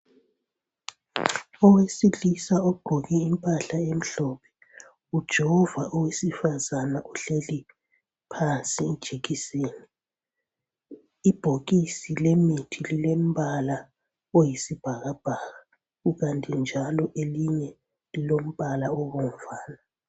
Owesilisa ogqoke impahla emhlophe ujova owesifazana ohleli phansi ijekiseni. Ibhokisi lemithi lilombala oyisibhakabhaka kukanti njalo elinye lilombala obomvana